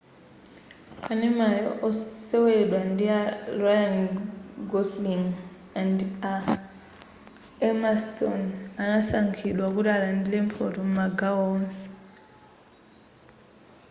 kanemayo woseweledwa ndi a ryan gosling andi a emma stone anasankhidwa kuti alandile mphoto m'magawo onse